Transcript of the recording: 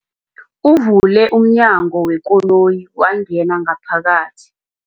Uvule umnyango wekoloyi wangena ngaphakathi.